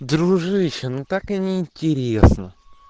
дружище ну так и не интересно